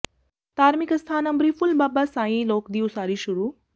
ਧਾਰਮਿਕ ਅਸਥਾਨ ਅੰਬਰੀ ਫੁੱਲ ਬਾਬਾ ਸਾਈਂ ਲੋਕ ਦੀ ਉਸਾਰੀ ਸ਼ੁਰੂ